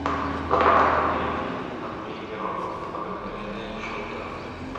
найти андрей миронов обыкновенное чудо